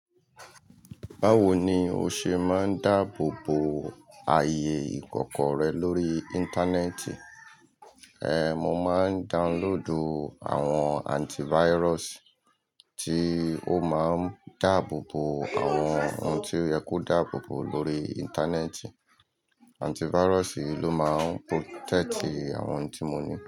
Báwo ni o ṣe máa ń dáàbò bo ayé ìkọ̀kọ̀ rẹ lórí Íńtánẹ́ẹ̀tì? Ehn, mo máa ń downloadù àwọn antivirus tí ó máa ń dáàbò bo àwọn ohun tí ó yẹ kó dáàbò bo lórí Íńtánẹ́ẹ̀tì. Antivirus ló máa ń protect àwọn ohun tí mo ní.